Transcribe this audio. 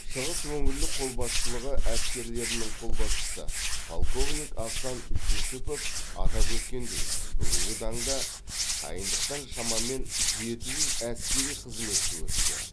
шығыс өңірлік қолбасшылығы әскерлерінің қолбасшысы полковник асан жүсіпов атап өткендей бүгінгі таңда дайындықтан шамамен жеті жүз әскери қызметші өтуде